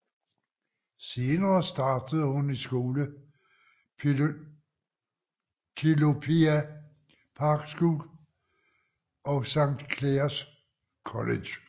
Senere startede hun i skole på Telopea Park School og Sankt Clares College